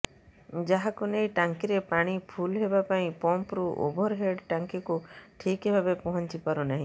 ଯାହାକୁ ନେଇ ଟାଙ୍କିରେ ପାଣି ଫୁଲ୍ ହେବା ପାଇଁ ପମ୍ପରୁ ଓଭରହେଡ୍ ଟାଙ୍କିକୁ ଠିକ୍ ଭାବେ ପହଁଞ୍ଚି ପାରୁନାହିଁ